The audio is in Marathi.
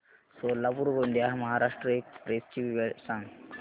सोलापूर गोंदिया महाराष्ट्र एक्स्प्रेस ची वेळ सांगा